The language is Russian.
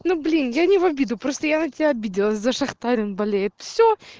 ну блин я не в обиду просто я на тебя обиделась зашахтарин болеет всё